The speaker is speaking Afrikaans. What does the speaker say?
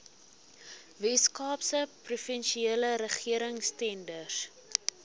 weskaapse provinsiale regeringstenders